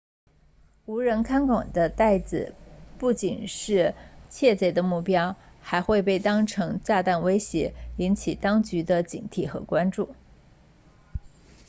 无人看管的袋子不仅是窃贼的目标还会被当成炸弹威胁引起当局的警惕和关注